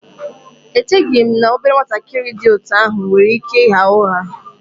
Echeghị m na obere nwatakịrị dị otú ahụ nwere ike ịgha ụgha